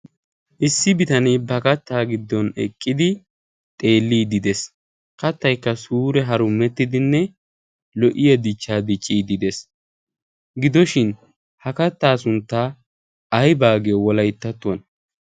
issi bitanee ba kattaa giddon eqqidi xeellii dees. kattaykka suure harummettidinne lo'iya dichchaadi dees. gidoshin ha kattaa sunttaa ay baagiyo wolayttattuwan